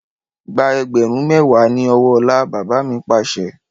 Gba ẹgbẹ̀rún mẹwa ni ọwọ́ ọlá! Bàbá mi Pàṣẹ.